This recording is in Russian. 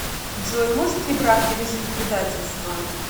джой может ли брак пережить предательство